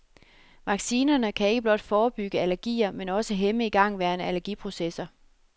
Vaccinerne kan ikke blot forebygge allergier men også hæmme igangværende allergiprocesser.